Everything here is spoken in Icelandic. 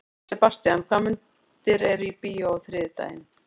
Sebastian, hvaða myndir eru í bíó á þriðjudaginn?